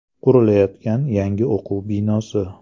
Qurilayotgan yangi o‘quv binosi.